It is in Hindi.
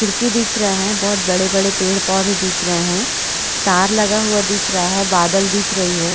खिड़की दिख रहे है बहुत बड़े-बड़े पेड़-पौधे दिख रहे है तार लगा हुआ दिख रहा है बादल दिख रही है।